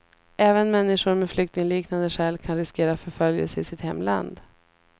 Även människor med flyktingliknande skäl kan riskera förföljelse i sitt hemland.